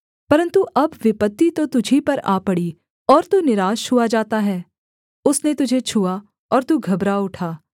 परन्तु अब विपत्ति तो तुझी पर आ पड़ी और तू निराश हुआ जाता है उसने तुझे छुआ और तू घबरा उठा